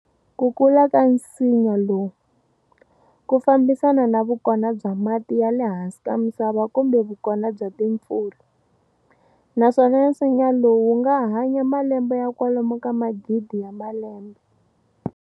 Ku kula ka nsinya lowu, ku fambisana na vukona bya mati ya le hansi ka misava kumbe vukona bya timpfula, naswona nsinya lowu wunga hanya malembe ya kwalomu ka magidi ya malembe.